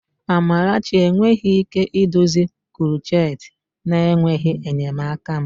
Amarachi enweghị ike idozi krocheti na-enweghị enyemaka m.